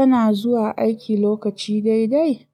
Kana zuwa aiki lokaci daidai?